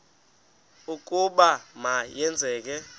ukuba ma yenzeke